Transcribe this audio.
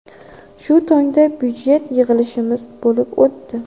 Shu tongda budjet yig‘ilishimiz bo‘lib o‘tdi.